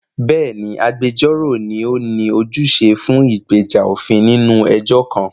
Bẹ́ẹ̀ni, agbẹjọ́rò ni ó ní ojúṣe fún ìgbèjà òfin nínú ẹjọ́ kan.